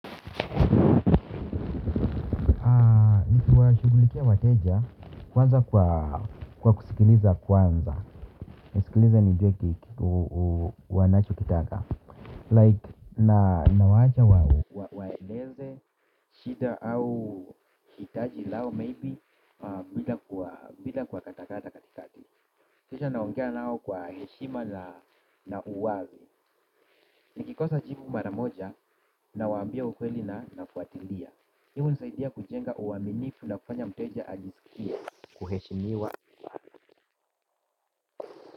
Kuwashughulikia wateja kwanza kwa kusikiliza kwanza. Nisikilize nijue kiki wanachokitaka Like nawaacha wao waeleze shida au hitaji lao maybe bila bila kuwa katakata katikati. Kisha naongea nao kwa heshima na uwawe. Nikikosa jibu maramoja nawaambia ukweli na nafuatilia. Hivo husaidia kujenga uaminifu na kufanya mteja ajisikie kuheshimiwa.